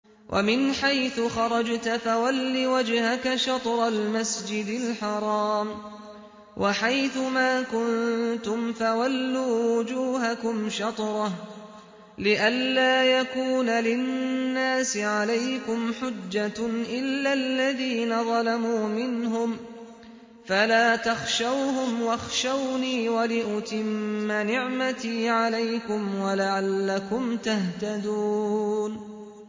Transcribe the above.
وَمِنْ حَيْثُ خَرَجْتَ فَوَلِّ وَجْهَكَ شَطْرَ الْمَسْجِدِ الْحَرَامِ ۚ وَحَيْثُ مَا كُنتُمْ فَوَلُّوا وُجُوهَكُمْ شَطْرَهُ لِئَلَّا يَكُونَ لِلنَّاسِ عَلَيْكُمْ حُجَّةٌ إِلَّا الَّذِينَ ظَلَمُوا مِنْهُمْ فَلَا تَخْشَوْهُمْ وَاخْشَوْنِي وَلِأُتِمَّ نِعْمَتِي عَلَيْكُمْ وَلَعَلَّكُمْ تَهْتَدُونَ